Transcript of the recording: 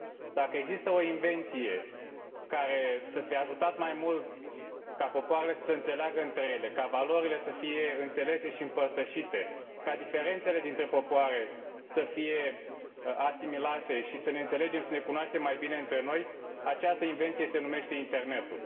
Dacă există o invenție care să fi ajutat mai mult ca popoarele să se înțeleagă între ele, ca valorile să fie înțelese și împărtășite, ca diferențele dintre popoare să fie asimilate și să ne înțelegem, să ne cunoaștem mai bine între noi, această invenție se numește Internetul.